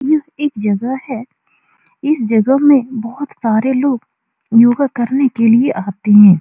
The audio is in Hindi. यह एक जगह है इस जगह में बहुत सारे लोग योगा करने के लिए आते हैं।